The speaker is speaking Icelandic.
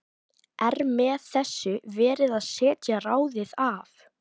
Er með þessu verið að setja ráðið af?